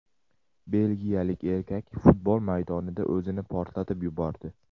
Belgiyalik erkak futbol maydonida o‘zini portlatib yubordi.